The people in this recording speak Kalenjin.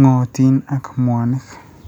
ng'ootiin ak mwanik.